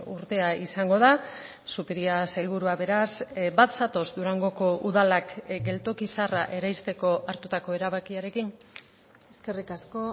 urtea izango da zupiria sailburua beraz bat zatoz durangoko udalak geltoki zaharra eraisteko hartutako erabakiarekin eskerrik asko